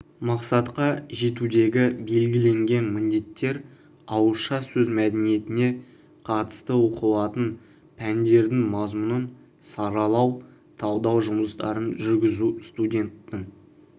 мақсатқа жетудегі белгіленген міндеттер ауызша сөз мәдениетіне қатысты оқытылатын пәндердің мазмұнын саралау талдау жұмыстарын жүргізу студенттің